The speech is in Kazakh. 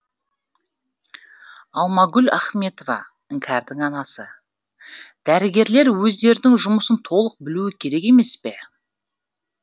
алмагүл ахметова іңкәрдің анасы дәрігерлер өздерінің жұмысын толық білуі керек емес пе